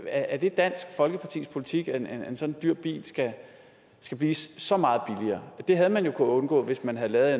er det dansk folkepartis politik at en sådan dyr bil skal blive så meget billigere det havde man jo kunnet undgå hvis man havde lavet